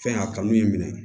Fɛn a kanu y'i minɛ